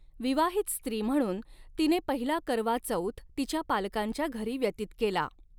विवाहित स्त्री म्हणून तिने पहिला करवा चौथ तिच्या पालकांच्या घरी व्यतीत केला.